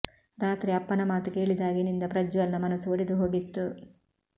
ರಾತ್ರಿ ಅಪ್ಪನ ಮಾತು ಕೇಳಿದಾಗಿನಿಂದ ಪ್ರಜ್ವಲ್ ನ ಮನಸು ಒಡೆದು ಹೋಗಿತ್ತು